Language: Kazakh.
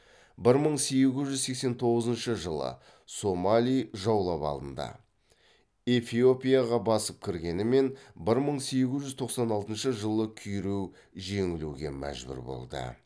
бір мың сегіз жүз сексен тоғызыншы жылы сомали жаулап алынды эфиопияға басып кіргенімен бір мың сегіз жүз тоқсан алтыншы жылы күйрей жеңілуге мәжбүр болды